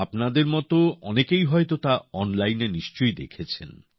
আপনাদের মত অনেকেই হয়তো তা অনলাইনে নিশ্চয়ই দেখেছেন